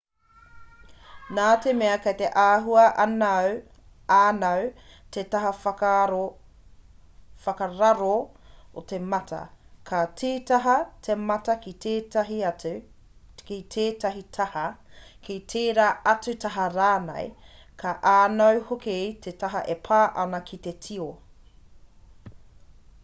nā te mea kei te āhua ānau te taha whakararo o te mata ka tītaha te mata ki tētahi taha ki tērā atu taha rānei ka ānau hoki te taha e pā ana ki te tio